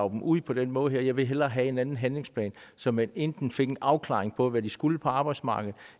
dem ud på den måde her jeg vil hellere have en anden handlingsplan så man enten fik en afklaring af hvad de skulle på arbejdsmarkedet